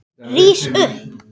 Rís upp.